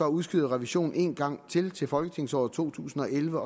udskyder revisionen en gang til til folketingsåret to tusind og elleve